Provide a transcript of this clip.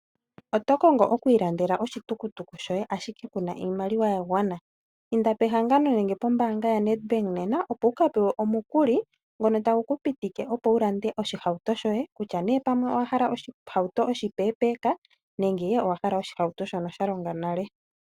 Oto kongo okwiilandela oshihauto ashike kuna iimaliwa ya gwana? Inda pehangano nenge pombaanga yaNedBank nena opo wuka pewe omukuli ngono tagu ku pitike opo wu lande oshihauto shoye kutya ne pamwe owa hala oshihauto oshipeepeka nenge owa hala oshihauto shono sha longa nale.